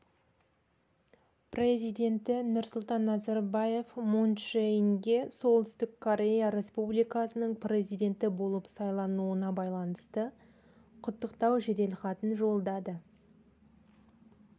президенті нұрсұлтан назарбаев мун чже инге оңтүстік корея республикасының президенті болып сайлануына байланысты құттықтау жеделхатын жолдады